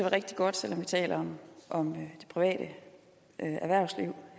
rigtig godt selv om vi taler om det private erhvervsliv